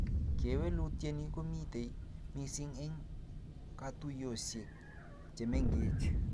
Kewelutieni komitei missing eng katuiyosiek che mengech